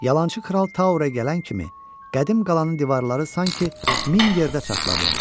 Yalançı kral Towerə gələn kimi qədim qalanın divarları sanki min yerdə çatladı.